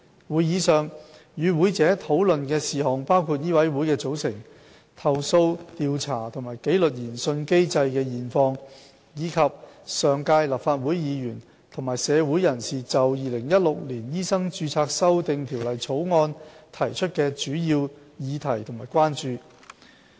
會議上，與會者討論事項包括醫委會的組成、投訴調查和紀律研訊機制的現況，以及上屆立法會議員和社會人士就《2016年醫生註冊條例草案》提出的主要議題及關注。